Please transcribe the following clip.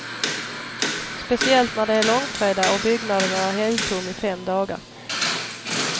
Speciellt när det är långfredag och byggnaden är helgtom i fem dagar.